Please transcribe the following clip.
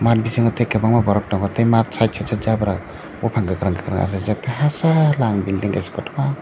math bisingo tei kwbangma borok tongo tei side side o jabra buphang kwkhwrang kwkhwrang achaijak tei hachal building kaisa kotorma.